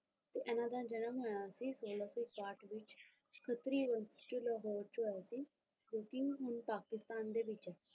ਤੇ ਇਹਨਾਂ ਦਾ ਜਨਮ ਹੋਇਆ ਸੀ ਸੋਲਾਂ ਸੋ ਇਕਾਹਟ ਵਿੱਚ ਖੱਤਰੀ ਵੰਸ਼ ਚ ਲਾਹੌਰ ਚ ਹੋਇਆ ਸੀ ਜੋ ਕੀ ਹੁਣ ਪਾਕਿਸਤਾਨ ਦੇ ਵਿੱਚ ਹੈ।